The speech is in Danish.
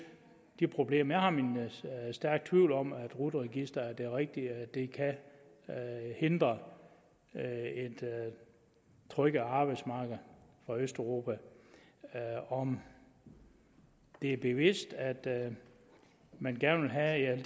de problemer jeg har min stærke tvivl om at rut registeret er det rigtige og at det kan hindre et tryk af arbejdsmarkedet fra østeuropa om det er bevidst at man gerne vil have